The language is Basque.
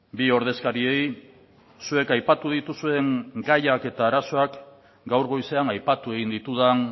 bi ordezkariei zuek aipatu dituzuen gaiak eta arazoak gaur goizean aipatu egin ditudan